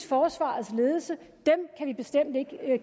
forsvarets ledelse kan vi bestemt ikke